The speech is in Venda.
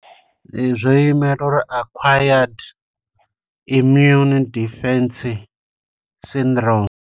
Zwo imela uri Acquired Immune Deficiency Syndrome.